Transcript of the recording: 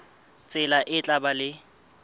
tsela e tla ba le